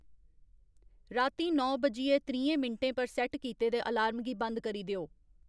रातीं नौ बज्जियै त्रीहें मिंटें पर सैट्ट कीते दे अलार्म गी बंद करी देओ